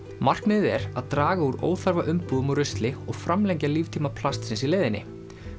markmiðið er að draga úr óþarfa umbúðum og rusli og framlengja líftíma plastsins í leiðinni